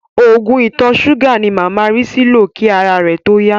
Oògùn ìtọ̀-súgà ni màmá Rísí lò kí ara rẹ̀ tó yá.